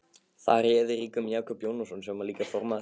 Þar réði ríkjum Jakob Jónasson sem líka var formaður